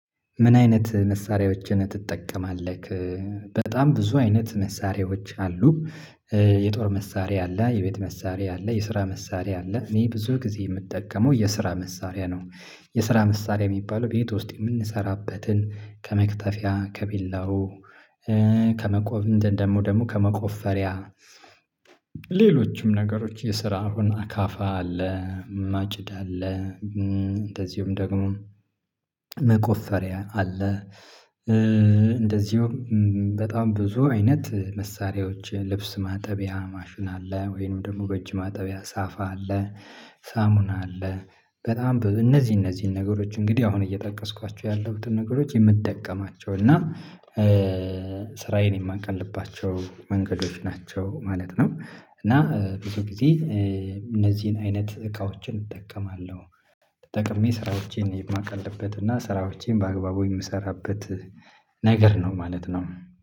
ምን አይነት መሳሪያዎችን ትጠቀማለህ? በጣም ብዙ አይነት መሳሪያዎች አሉ። የጦር መሳሪያ አለ የቤት መሳሪያ አለ የስራ መሳሪያ አለ እኔ ብዙ ጊዜ የምጠቀመው የስራ መሳሪያ ነው። የስራ መሳሪያ የሚባለው ቤት ውስጥ የምንሰራበትን ከመክተፊያ ከቢላው ከመቆብ እንትን ደግሞ ከመቆፈሪያ። ሌሎችም ነገሮች የስራ አሁን አካፋ አለ። ማጭድ አለ። እንደዚሁም ደግሞ መቆፈሪያ አለ። እንደዚሁም በጣም ብዙ አይነት መሳሪያዎች ልብስ ማጠቢያ ማሽን አለ ወይንም ደግሞ በእጅ ማጠቢያ ሳፋ አለ። ሳሙና አለ በጣም እነዚህ እነዚህን ነገሮች እንግዲህ አሁን እየጠቀስኳቸው ያለሁትን ነገሮች የምጠቀማቸው እና ስራዬን የማቀልባቸው መንገዶች ናቸው ማለት ነው። እና ብዙ ጊዜ እነዚህን አይነት እቃዎችን እጠቀማለሁ። ተጠቅሜ ስራዎቼን የማቀልበት እና ስራዎቼን በአግባቡ የምሰራበት ነገር ነው ማለት ነው